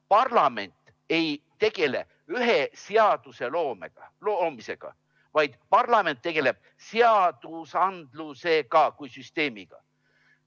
Parlament ei tegele ühe seaduse loomisega, vaid parlament tegeleb seadusandluse kui süsteemiga.